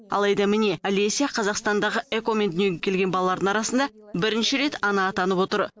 алайда міне алеся қазақстандағы эко мен дүниеге келген балалардың арасында бірінші рет ана атанып отыр